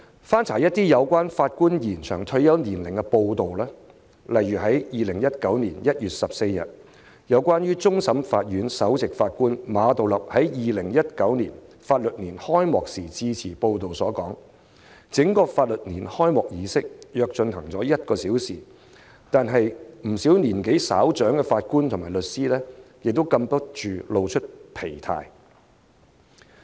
翻查一些有關延展法官退休年齡的報道，例如2019年1月14日有關終審法院首席法官馬道立在2019年法律年度開啟典禮致辭，報道指出，法律年度開啟儀式約進行了1小時，不少年紀稍長的法官和律師已禁不住露出疲態。